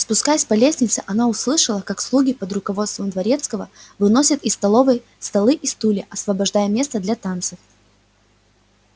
спускаясь по лестнице она услышала как слуги под руководством дворецкого выносят из столовой столы и стулья освобождая место для танцев